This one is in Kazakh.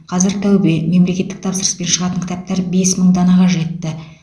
қазір тәубе мемлекеттік тапсырыспен шығатын кітаптар бес мың данаға жетті